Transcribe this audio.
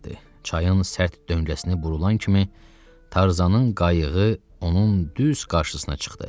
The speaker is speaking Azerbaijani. Çayın sərt döngəsinə vurulan kimi Tarzanın qayığı onun düz qarşısına çıxdı.